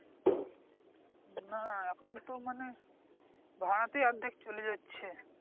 না এখন তো মানে ভাড়াতেই অর্ধেক চলে যাচ্ছে